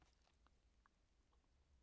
TV 2